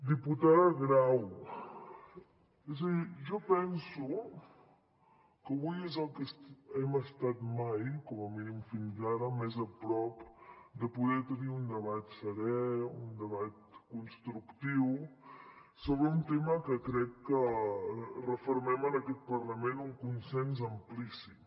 diputada grau és a dir jo penso que avui és el que hem estat mai com a mínim fins ara més a prop de poder tenir un debat serè un debat constructiu sobre un tema que crec que hi refermem en aquest parlament un consens amplíssim